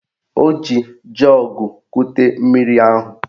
O ji jọọgụ kute mmiri ahụ